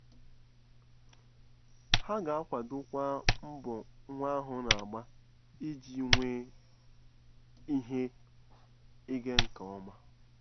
Ha ga-akwadokwa mbọ nwa ahụ na-agba iji nwee ihe ịga nke ọma.